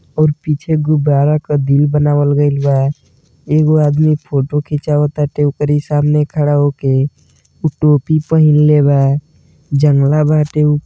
और पीछे गुब्बारा क दिल बनावल गएल बा एगो आदमी फोटो खींचावताटे ओकरी सामने खड़ा होके उ टोपी पहनलेबा जंगला बाटे उ --